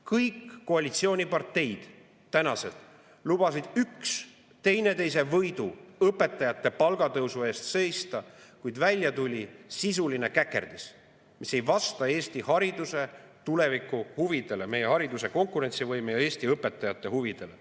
Kõik tänased koalitsiooniparteid lubasid üksteise võidu õpetajate palgatõusu eest seista, kuid välja tuli sisuline käkerdis, mis ei vasta Eesti hariduse tulevikuhuvidele, meie hariduse konkurentsivõime ja Eesti õpetajate huvidele.